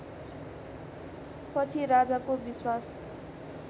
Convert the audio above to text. पछि राजाको विश्वास